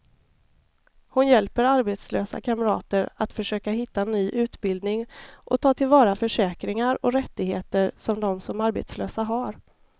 Hon hjälper arbetslösa kamrater att försöka hitta ny utbildning och ta till vara försäkringar och rättigheter som de som arbetslösa har.